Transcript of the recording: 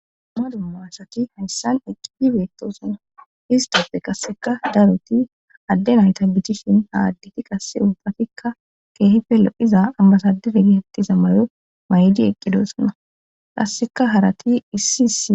Madu maassati hayssan eqqidi beetosanna histoppe qasseka daroti adde nayta bicchishin ha additi qasse ubbatikka keehife lo'iza ambasadefe gehettiza mayo may'idi eqqidosonna qasseka harati issi issi